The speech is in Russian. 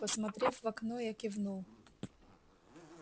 посмотрев в окно я кивнул